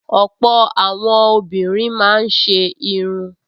Ọ̀pọ̀ àwọn obìnrin máa ń ṣe irun